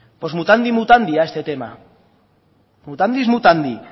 pues mutandis mutandi a este tema